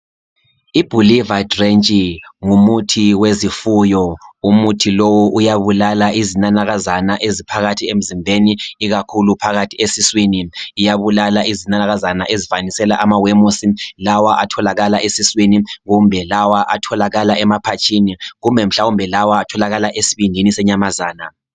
Ibuliver drench ngumuthi wezifuyo. Umuthi lowu uyabulala izinanakazana eziphakathi emzimbeni ikakhulu phakathi esiswini. Iyabulala izinanakazana ezifanisela amawemusi lawa atholakala esiswini kumbe lawa emaphatshini kumbe lawa atholakala esibindini senyamazana.